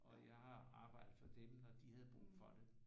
Og jeg har arbejdet for dem når de havde brug for det